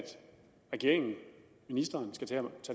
regeringen og ministeren skal tage